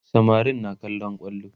samarin na kallon kwallo